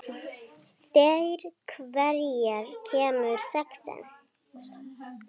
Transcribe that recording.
Kannski hafði hann verið of dofinn.